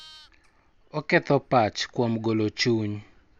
Oketo pach kuom golo chuny